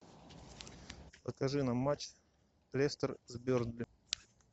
покажи нам матч лестер с бернли